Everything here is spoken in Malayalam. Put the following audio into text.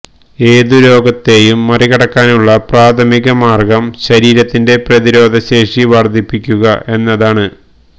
ഏതു രോഗത്തെയും മറികടക്കാനുള്ള പ്രാഥമിക മാർഗം ശരീരത്തിന്റെ പ്രതിരോധശേഷി വർധിപ്പിക്കുക എന്നതാണ്